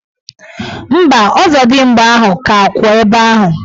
Mba, ọzọdimgba ahụ ka kwụ ebe ahụ.